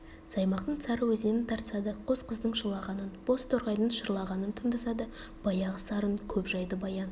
саймақтың сары өзенін тартса да қос қыздың жылағанын боз торғайдың шырлағанын тыңдаса да баяғы сарын көп жайды баян